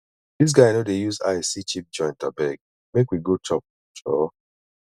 dis guy no dey use eye see cheap joint abeg make we go chop joor